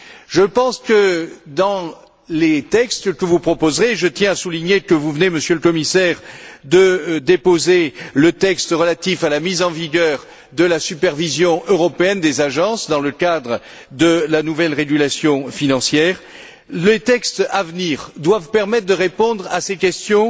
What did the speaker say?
Je pense que les textes que vous proposerez je tiens à souligner que vous venez, Monsieur le Commissaire, de déposer le texte relatif à la mise en vigueur de la supervision européenne des agences dans le cadre de la nouvelle régulation financière doivent permettre de répondre à ces questions,